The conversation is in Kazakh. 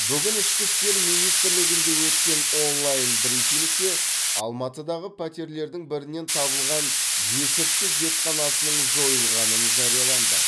бүгін ішкі істер министрлігінде өткен онлайн брифингте алматыдағы пәтерлердің бірінен табылған есірткі зертханасының жойылғанын жарияланды